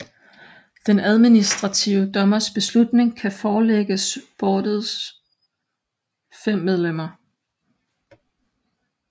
Den administrative dommers beslutning kan forelægges boardets fem medlemmer